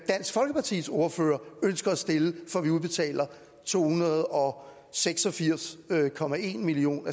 dansk folkepartis ordfører ønsker at stille for at vi udbetaler to hundrede og seks og firs million